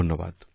ধন্যবাদ